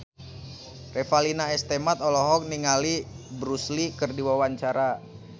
Revalina S. Temat olohok ningali Bruce Lee keur diwawancara